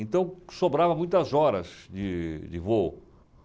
Então, sobrava muitas horas de de voo.